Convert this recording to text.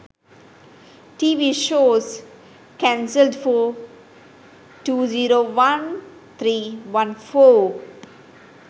tv shows cancelled for 201314